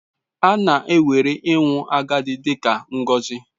A na-ewere ịnwụ agadi dị ka ngọzi.